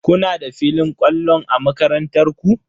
Kuna da filin kwallon a makarantar ku?